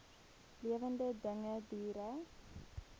lewende dinge diere